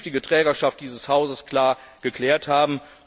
auch die künftige Trägerschaft dieses Hauses geklärt haben.